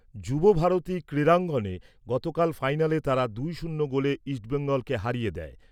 যুব ভারতী ক্রীড়াঙ্গনে গতকাল ফাইনালে তারা দুই শূন্য গোলে ইস্টবেঙ্গলকে হারিয়ে দেয়।